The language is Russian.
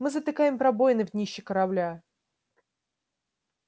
мы затыкаем пробоины в днище корабля